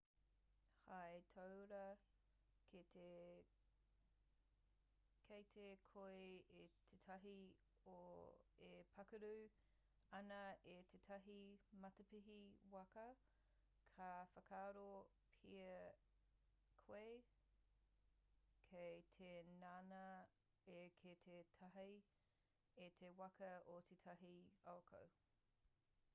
hei tauira ki te kite koe i tētahi e pākaru ana i tētahi matapihi waka ka whakaaro pea koe kei te ngana ia ki te tāhae i te waka o tētahi uakoau